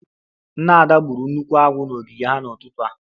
Nna Ada gburu nnukwu agwọ n'ogige ha n'ụtụtụ a